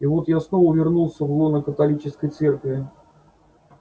вот я снова вернулся в лоно святой католической церкви